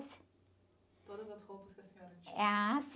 Todas as roupas que a senhora tinha?h...